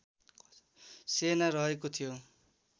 सेना रहेको थियो